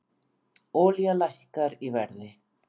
Olía lækkar í verði